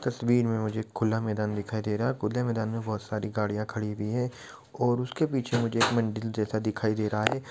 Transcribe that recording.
कश्मीर में मुझे एक खुला मैदान दिखाई दे रहा है खुले मैदान में बहुत साड़ी गाड़िया खड़ी हुई है और उसके पीछे मुझे एक मंदील